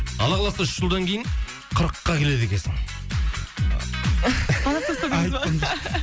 алла қаласа үш жылдан кейін қырыққа келеді екенсің